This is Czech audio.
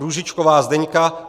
Růžičková Zdeňka